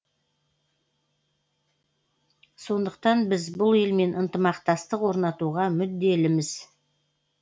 сондықтан біз бұл елмен ынтымақтастық орнатуға мүдделіміз